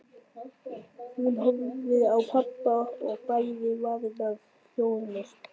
Hún horfði á pabba og bærði varirnar hljóðlaust.